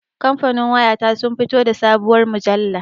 Kamfanin waya ta sun fito da sabuwar mujalla